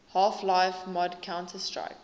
half life mod counter strike